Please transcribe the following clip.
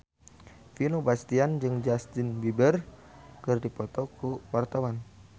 Vino Bastian jeung Justin Beiber keur dipoto ku wartawan